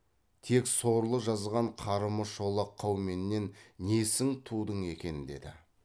тек сорлы жазған қарымы шолақ қауменнен несін тудың екен деді